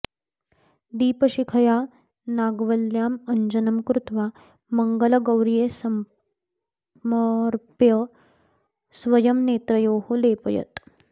दीपशिखया नागव्ल्यां अञ्जनं कृत्वा मङ्गलगौर्यै समर्प्य स्वयं नेत्रयोः लेपयेत्